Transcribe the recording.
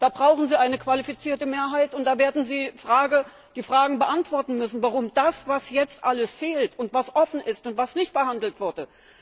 Da brauchen Sie eine qualifizierte Mehrheit, und da werden Sie die Fragen beantworten müssen zu dem, was jetzt alles fehlt und was offen ist und was nicht behandelt wurde.